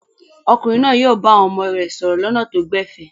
Ọkùnrin náà yóò bá àwọn ọmọ rẹ̀ sọ̀rọ̀ lọ́nà tó gbẹ̀fẹ̀?